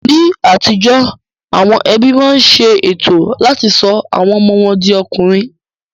Ní àtijó, àwọn ẹbí máa ń ṣe ètò láti sọ àwọn ọmọ wọn di ọkùnrin